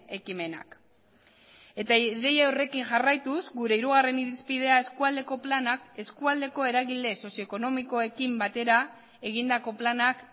ekimenak eta ideia horrekin jarraituz gure hirugarren irizpidea eskualdeko planak eskualdeko eragile sozioekonomikoekin batera egindako planak